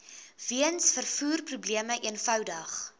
weens vervoerprobleme eenvoudig